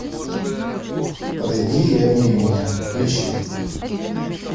подойди и обними меня включи